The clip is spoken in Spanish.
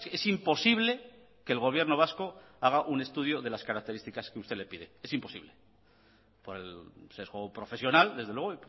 es imposible que el gobierno vasco haga un estudio de las características que usted le pide es imposible por el sesgo profesional desde luego